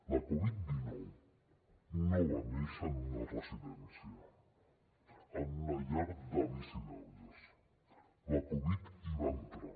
la covid dinou no va néixer en una residència en una llar d’avis i d’àvies la covid hi va entrar